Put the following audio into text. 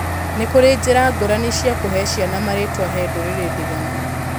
Nĩ kũrĩ njĩra ngũrani cia kũhee ciana marĩtwa he ndũrĩrĩ ndiganu.